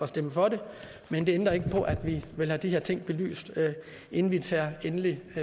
stemme for det men det ændrer ikke på at vi vil have de her ting belyst inden vi tager endelig